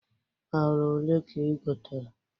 Ala olee ka igotere?